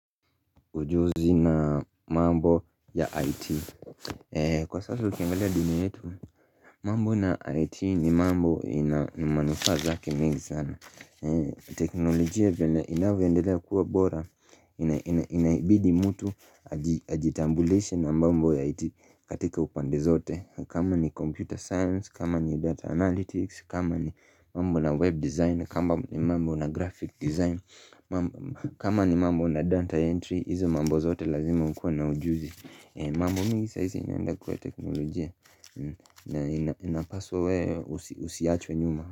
Ujuzi na mambo ya IT Kwa sasa ukiangalia dini yetu mambo na IT ni mambo ina manufaa zake mingi sana teknolojia venye inavyoendelea kuwa bora Inaibidi mtu ajitambulishe na mambo ya IT katika upande zote kama ni computer science, kama ni data analytics, kama ni mambo na web design, kama ni mambo na graphic design kama ni mambo na data entry, hizo mambo zote lazima ukuwe na ujuzi mambo mingi saisi inaenda kwa teknolojia na inapaswa wewe usiachwe nyuma.